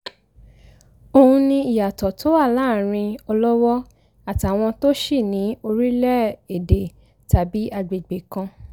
òun ni ìyàtọ̀ tó wà láàárín ọlọ́wọ àtàwọn tòṣì ní orílẹ̀-èdè tàbí àgbègbè kan